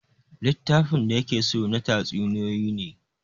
Littafin da ya ke so na tatsuniyoyi ne